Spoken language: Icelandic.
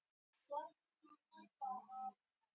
Auðgeir, hvað er jörðin stór?